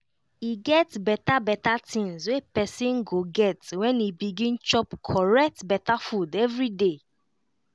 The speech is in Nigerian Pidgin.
e get beta beta tinz wey pesin go get when e begin chop correct beta food everyday